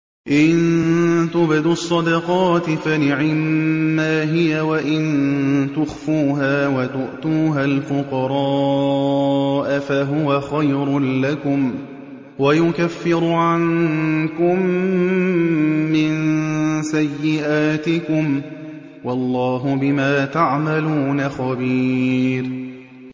إِن تُبْدُوا الصَّدَقَاتِ فَنِعِمَّا هِيَ ۖ وَإِن تُخْفُوهَا وَتُؤْتُوهَا الْفُقَرَاءَ فَهُوَ خَيْرٌ لَّكُمْ ۚ وَيُكَفِّرُ عَنكُم مِّن سَيِّئَاتِكُمْ ۗ وَاللَّهُ بِمَا تَعْمَلُونَ خَبِيرٌ